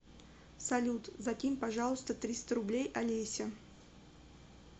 салют закинь пожалуйста триста рублей олесе